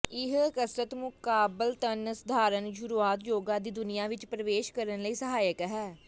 ਇਹ ਕਸਰਤ ਮੁਕਾਬਲਤਨ ਸਧਾਰਨ ਸ਼ੁਰੂਆਤ ਯੋਗਾ ਦੀ ਦੁਨੀਆ ਵਿੱਚ ਪ੍ਰਵੇਸ਼ ਕਰਨ ਲਈ ਸਹਾਇਕ ਹੈ